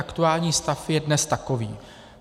Aktuální stav je dnes takový.